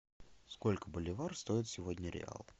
сколько боливар стоит сегодня реал